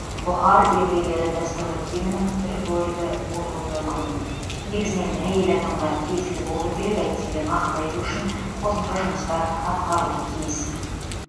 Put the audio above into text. бұхар еврейлері дәстүрлі киімінің бір бөлігі болуы мүмкін негізінен әйел адамға тиесілі болуы керек әйтсе де нақты айту үшін қосымша жұмыстар атқарылуы тиіс